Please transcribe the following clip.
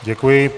Děkuji.